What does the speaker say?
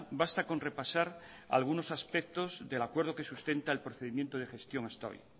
basta con repasar algunos aspectos del acuerdo que sustenta el procedimiento de gestión hasta hoy